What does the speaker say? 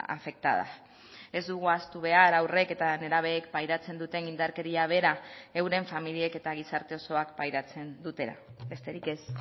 afectadas ez dugu ahaztu behar haurrek eta nerabeek pairatzen duten indarkeria bera euren familiek eta gizarte osoak pairatzen dutela besterik ez